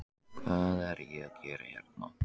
Hvað er ég að gera hérna?